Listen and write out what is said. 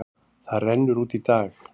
Það rennur út í dag.